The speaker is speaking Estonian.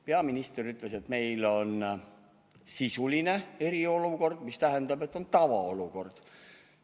Peaminister ütles, et meil on sisuline eriolukord, mis tähendab, et on tavaolukord.